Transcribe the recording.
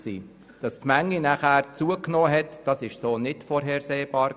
Dass die Menge nachher zugenommen hat, war nicht vorhersehbar.